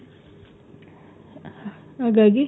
ಹಾಗಾಗಿ,